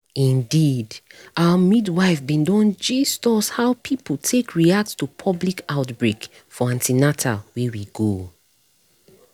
indeedour midwife bin don gist us how people take react to public outbreak for an ten al wey we go